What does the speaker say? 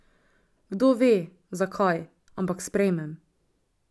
Kdo ve, zakaj, ampak sprejmem.